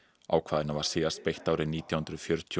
ákvæðinu var síðast beitt árið nítján hundruð fjörutíu